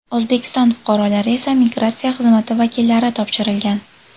O‘zbekiston fuqarolari esa migratsiya xizmati vakillari topshirilgan.